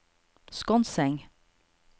Skonseng